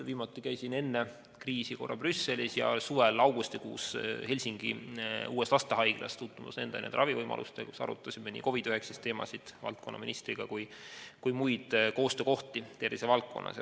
Viimati käisin enne kriisi korra Brüsselis ja suvel augustikuus Helsingis tutvumas uue lastehaigla ravivõimalustega, arutasime seal valdkonnaministriga nii COVID‑19 teemasid kui ka muid koostöökohti tervisevaldkonnas.